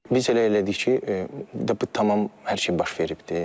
Biz elə elədik ki, tam hər şey baş veribdir.